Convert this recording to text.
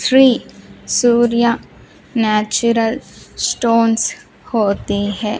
Three सूर्य natural stones होते हैं।